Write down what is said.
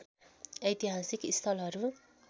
ऐतिहासिक स्थलहरू